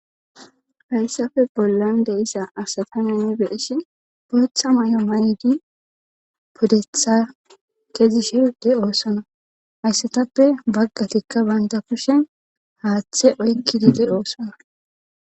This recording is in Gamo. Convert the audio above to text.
Hasafe bollan de issa asatamenni beishi bootha may7o mayidi puddetha kezi shirde oosana hayssatappe baggatikka baynta kushen haaththe oykki diidi oosana